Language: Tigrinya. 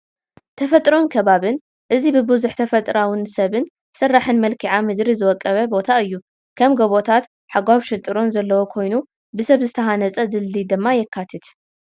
ተፈጥሮን ከባብን፡- እዚ ብብዙሕ ተፈጥራኣውን ሰብ ስራሕን መልክኣ ምድሪ ዝወቀበ ቦታ እዩ፡፡ ከም ጎቦታት፣ ሓጓፍ ሽንጥርን ዘለዎ ኮይኑ ብሰብ ዝተሃንፀ ድልድል ድማ የካትት፡፡